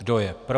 Kdo je pro?